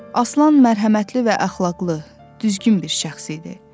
Aslan mərhəmətli və əxlaqlı, düzgün bir şəxs idi.